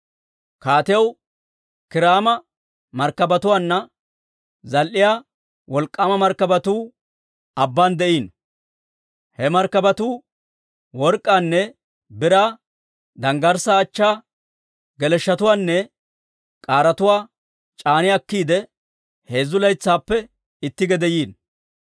Kaatiyaw Kiiraama markkabatuwaanna zal"iyaa wolk'k'aama markkabatuu abbaan de'iino. He markkabatuu work'k'aanne biraa, danggarssaa achchaa, geleshshotuwaanne k'aaretuwaa c'aani akkiide, heezzu laytsaappe itti gede yiino.